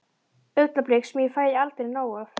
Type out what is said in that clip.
Augnablik sem ég fæ aldrei nóg af.